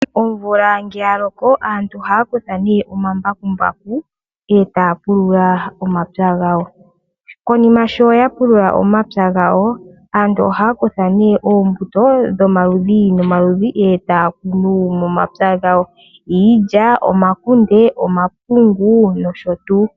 Omvula ngele ya loko aantu ohaya kutha nee omambakumbaku taya pulula omapya gawo. Konima sho ya pulula omapya gawo aantu ohaya kutha nee oombuto dhomaludhi nomaludhi e taya kunu momapya gawo; iilya, omakunde, omapungu nosho tuu.